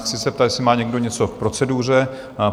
Chci se zeptat, jestli má někdo něco k proceduře?